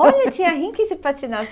Olha, tinha rinque de